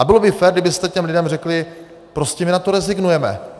A bylo by fér, kdybyste těm lidem řekli: Prostě my na to rezignujeme.